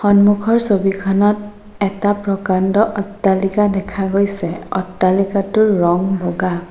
সন্মুখৰ ছবিখনত এটা প্ৰকাণ্ড অট্টালিকা দেখা গৈছ অট্টালিকাটোৰ ৰং বগা।